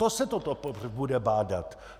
To se to bude bádat!